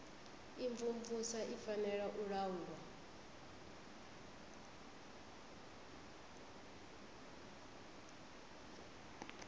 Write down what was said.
imvumvusa i fanela u laulwa